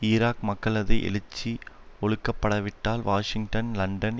Iraq மக்களது எழுச்சி ஒழுக்கப்படவிட்டால் வாஷிங்டன் லண்டன்